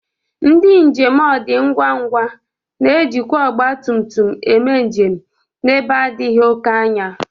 Ndị njem ọ dị ngwa ngwa na-ejikwa ọgbatụmtụm eme njem n'ebe adịghị oke anya..